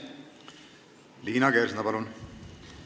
Liina Kersna, palun!